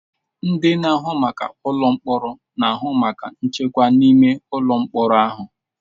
Ndị na-ahụ maka ụlọ mkpọrọ na-ahụ maka nchekwa n'ime ụlọ mkpọrọ ahụ.